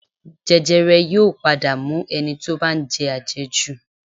Jẹjẹrẹ yóò padà mú ẹni tí ó bá ń jẹ àjẹjù